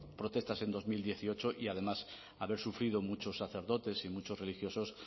protestas en dos mil dieciocho y además haber sufrido muchos sacerdotes y muchos religiosos